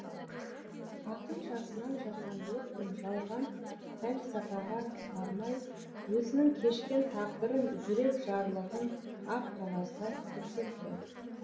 ақын жасынан жасандылық пен жалған пәлсапаға бармай өзінің кешкен тағдырын жүрек жарлығын ақ қағазға түсірді